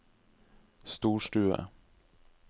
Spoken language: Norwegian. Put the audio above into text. storstue